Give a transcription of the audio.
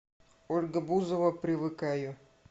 ольга бузова привыкаю